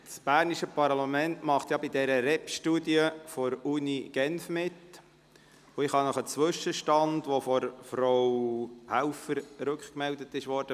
Das bernische Parlament macht ja bei dieser REPStudie der Universität Genf mit, und ich kann Ihnen einen Zwischenstand bekannt geben, der von Frau Helfer rückgemeldet wurde.